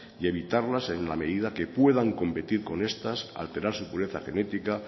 y evitarlas en la medida que puedan competir con estas alterar su pureza genética